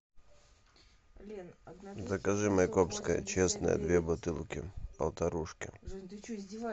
закажи майкопское честное две бутылки полтарушки